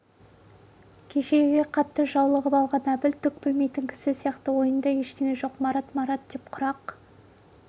кешегіге қатты жауығып алған әбіл түк білмейтін кісі сияқты ойында ештеңе жоқ марат марат деп құрақ